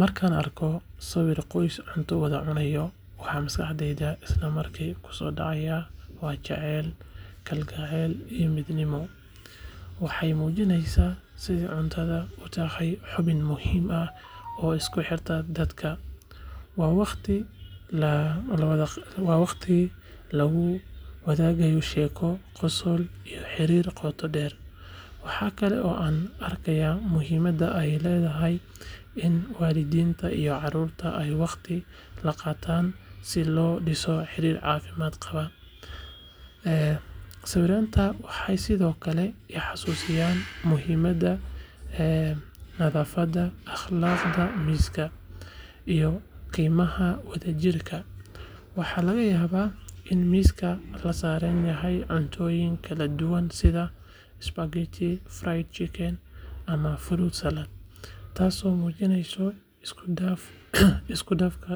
Markaan arko sawir qoys cunto wada cunaya, waxa maskaxdayda isla markiiba ku soo dhacaya waa jacayl, kalgacal, iyo midnimo. Waxay muujinaysaa sida cuntada u tahay xubin muhiim ah oo isku xirta dadka. Waa waqti lagu wadaagayo sheeko, qosol, iyo xiriir qoto dheer. Waxaa kale oo aan arkaa muhiimadda ay leedahay in waalidiinta iyo carruurta ay waqtiga la qaataan si loo dhiso xiriir caafimaad qaba. Sawirradaas waxay sidoo kale i xasuusiyaan muhiimadda nadaafadda, akhlaaqda miiska, iyo qiimaha wadajirka. Waxaa laga yaabaa in miiska la saaran yahay cuntooyin kala duwan sida spaghetti, fried chicken, ama fruit salad, taasoo muujinaysa isku dhafka